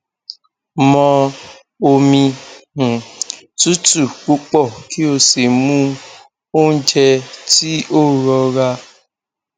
mọ omi um tutu pupọ ki o si mu ounjẹ ti o rọra